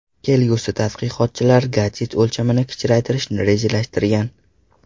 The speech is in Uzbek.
Kelgusida tadqiqotchilar gadjet o‘lchamini kichraytirishni rejalashtirgan.